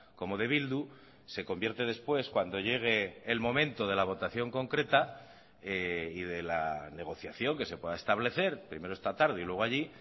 como de bildu se convierte después cuando llegue el momento de la votación concreta y de la negociación que se pueda establecer primero esta tarde y luego allí